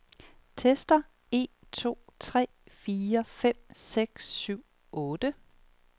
Tester en to tre fire fem seks syv otte.